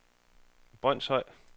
Brønshøj